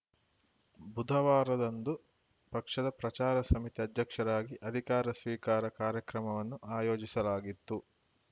ಬುಧವಾರದಂದು ಪಕ್ಷದ ಪ್ರಚಾರ ಸಮಿತಿ ಅಧ್ಯಕ್ಷರಾಗಿ ಅಧಿಕಾರ ಸ್ವೀಕಾರ ಕಾರ್ಯಕ್ರಮವನ್ನು ಆಯೋಜಿಸಲಾಗಿತ್ತು